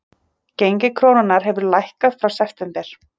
Gengi krónunnar hefur lækkað frá september